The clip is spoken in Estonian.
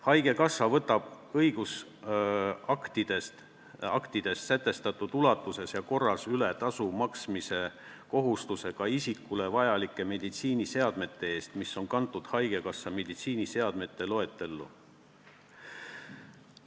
Haigekassa võtab õigusaktides sätestatud ulatuses ja korras üle tasu maksmise kohustuse ka isikule vajalike meditsiiniseadmete eest, mis on kantud haigekassa meditsiiniseadmete loetellu.